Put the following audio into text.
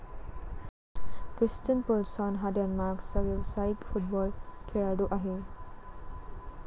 Christian Poulsen हा डेन्मार्कचा व्यवसायिक फुटबॉल खेळाडू आहे.